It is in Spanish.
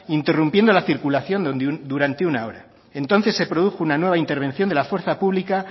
interrumpiendo la circulación durante una hora entonces se produjo una nueva intervención de la fuerza pública